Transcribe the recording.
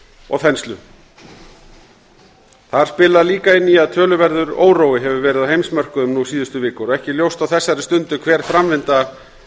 og þenslu þar spilar líka inn í að töluverður órói hefur verið á heimsmörkuðum nú síðustu vikur og ekki ljóst á þessari stundi hver framvinda